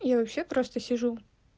я вообще просто сижу